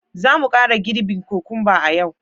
Za mu kara girbi kokumba a yau